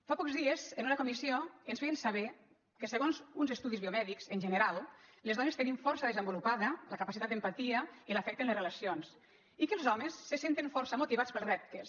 fa pocs dies en una comissió ens feien saber que se·gons uns estudis biomèdics en general les dones te·nim força desenvolupada la capacitat d’empatia i l’afecte en les relacions i que els homes se senten for·ça motivats pels reptes